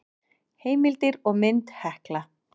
Heimildir og mynd Hekla.